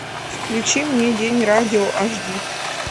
включи мне день радио аш ди